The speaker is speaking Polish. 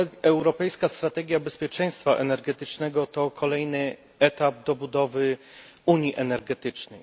Europejska strategia bezpieczeństwa energetycznego to kolejny etap budowy unii energetycznej.